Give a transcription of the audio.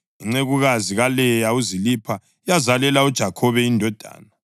Incekukazi kaLeya uZilipha yazalela uJakhobe indodana.